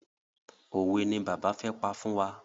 Òwe ni bàbá fẹ́ pa fún wa.